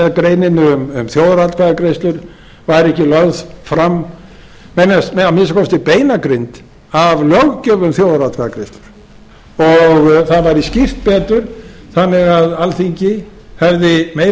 með greininni um þjóðaratkvæðagreiðslur væri ekki lögð fram að minnsta kosti beinagrind af löggjöf um þjóðaratkvæðagreiðslur og það væri skýrt betur þannig að alþingi hefði meiri